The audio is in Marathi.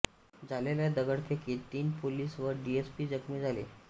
झालेल्या दगडफेकीत तीन पोलीस व डीसपी जखमीं झाले